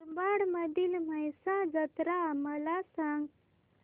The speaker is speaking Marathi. मुरबाड मधील म्हसा जत्रा मला सांग